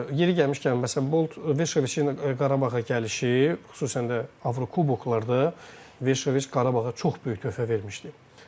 Yeri gəlmişkən məsələn Bolt Veşoviçlə Qarabağa gəlişi, xüsusən də Avrokuboklarda Veşoviç Qarabağa çox böyük töhfə vermişdi.